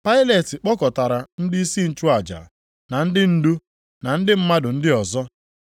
Pailet kpọkọtara ndịisi nchụaja, na ndị ndu, na ndị mmadụ ndị ọzọ